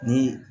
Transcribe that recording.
Ni